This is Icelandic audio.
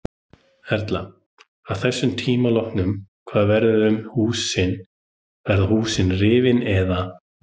Erla: Að þessum tíma loknum hvað verður um húsin, verða húsin rifin eða?